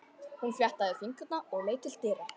Hún fléttaði fingurna og leit til dyra.